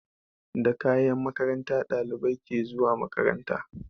Da kayan makaranta ɗalibai ke zuwa makaranta